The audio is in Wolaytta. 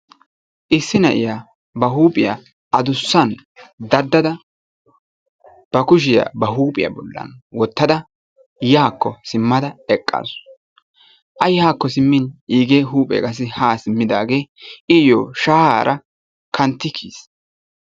issi na'iya ba huuphiya adussan dadada ba kushiya kookkiyakko wotada yaako simmada eqaasu. a yaakko simmin iigee huuphee haakko simmidi wodhaagee iyoo shayaara kantti kiyiis.